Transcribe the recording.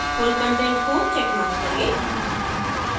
full content को checkmark करें